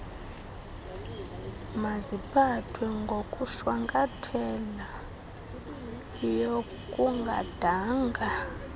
maziphathwe ngokushwankathelayo kungadanga